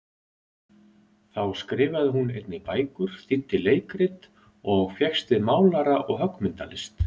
Þá skrifaði hún einnig bækur, þýddi leikrit, og fékkst við málara- og höggmyndalist.